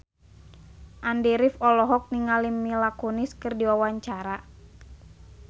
Andy rif olohok ningali Mila Kunis keur diwawancara